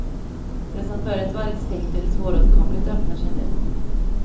Det som förut varit stängt eller svåråtkomligt öppnar sig nu.